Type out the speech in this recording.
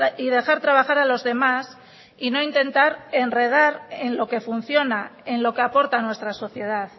y dejar trabajar a los demás y no intentar enredar en lo que funciona en lo que aporta nuestra sociedad